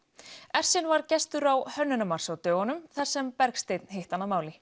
ersin var gestur á hönnunarmars á dögunum þar sem Bergsteinn hitti hann að máli